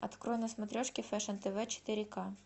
открой на смотрешке фэшн тв четыре к